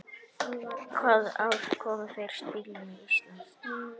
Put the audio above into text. Hvaða ár kom fyrsti bíllinn til Íslands?